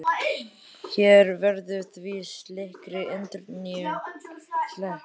Hér verður því slíkri endurnýjun sleppt.